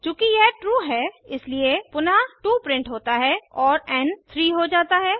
चूँकि यह ट्रू है इसलिए पुनः 2 प्रिंट होता है और एन 3 हो जाता है